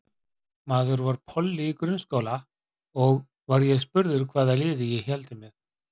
Maður var polli í grunnskóla og var ég spurður hvaða liði ég héldi með.